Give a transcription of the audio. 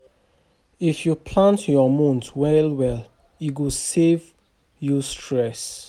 If yu plan yur mout well well, e go save you stress